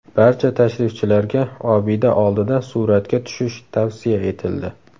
Barcha tashrifchilarga obida oldida suratga tushish tavsiya etildi.